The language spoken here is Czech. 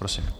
Prosím.